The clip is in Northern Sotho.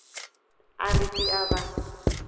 a re ke a ba